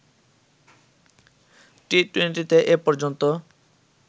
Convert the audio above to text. টি-টুয়েন্টিতে এ পর্যন্ত